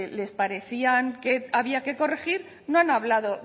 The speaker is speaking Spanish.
les parecían que había que corregir no han hablado